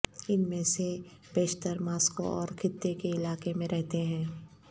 ان میں سے بیشتر ماسکو اور خطے کے علاقے میں رہتے ہیں